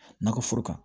Nakɔ foro kan